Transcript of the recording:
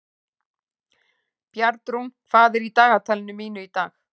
Bjarnrún, hvað er í dagatalinu mínu í dag?